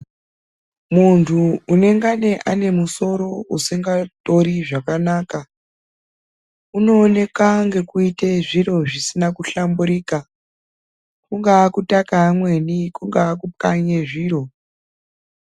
Munthu unengane ane musoro usingatori zvakanaka, unooneka ngekuite zvir zvisina kuhlamburika, kungaa kutaka amweni, kungaa kukanye zviro.